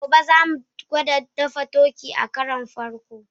Gobe, za mu gwada dafa turkey a karon farko.